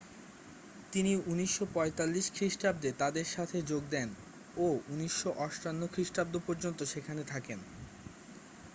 তিনি 1945 খ্রিস্টাব্দে তাদের সাথে যোগ দেন ও 1958 খ্রিস্টাব্দ পর্যন্ত সেখানে থাকেন